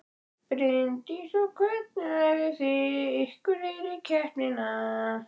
Bryndís: Og hvernig æfðu þið ykkur fyrir keppnina?